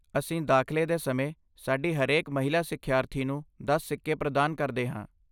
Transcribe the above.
ਅਸੀਂ ਦਾਖਲੇ ਦੇ ਸਮੇਂ ਸਾਡੀ ਹਰੇਕ ਮਹਿਲਾ ਸਿੱਖਿਆਰਥੀ ਨੂੰ ਦਸ ਸਿੱਕੇ ਪ੍ਰਦਾਨ ਕਰਦੇ ਹਾਂ